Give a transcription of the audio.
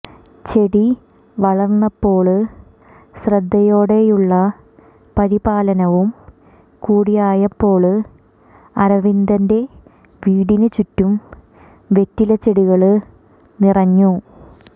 ചെടി വളര്ന്നപ്പോള് ശ്രദ്ധേയോടെയുള്ള പരിപാലനവും കുടിയായപ്പോള് അരവിന്ദന്റെ വീടിന് ചുറ്റും വെറ്റിലച്ചെടികള് നിറഞ്ഞു